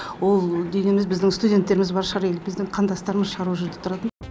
ол дегеніміз біздің студенттеріміз бар шығар или біздің қандастарымыз шығар ол жерде тұратын